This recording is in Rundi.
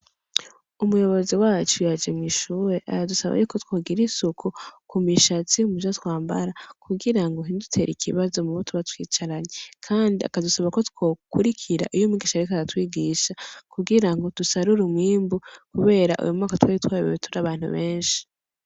Umuyobozi wacu yaje mw'ishure aradusaba yuko twogira isuku kumishatsi ,muvyo twambara ,kugira ngo ntibidutere ikibazo mubo tuba twicaranye, kandi akadusaba ko twokurikira iy'umwigisha ariko aratwigisha kugirango dusarure umwimbu kubera uyumwaka twari twayobewe turi abantu benshi.